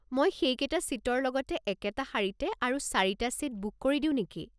মই সেইকেইটা ছিটৰ লগতে একেতা শাৰীতে আৰু চাৰিটা ছিট বুক কৰি দিও নেকি?